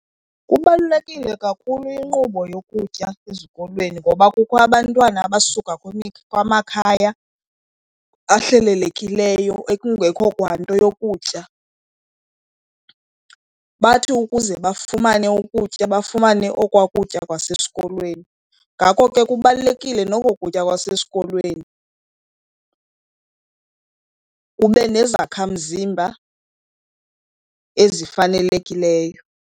Kubalulekile kakhulu inkqubo yokutya ezikolweni ngoba kukho abantwana abasuka kumakhaya ahlelelekileyo ekungekho kwa nto yokutya. Bathi ukuze bafumane ukutya bafumane okwaa kutya kwasesikolweni. Ngako ke kubalulekile noko kutya kwasesikolweni kube nezakhamzimba ezifanelekileyo.